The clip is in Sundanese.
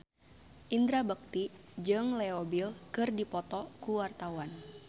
Indra Bekti jeung Leo Bill keur dipoto ku wartawan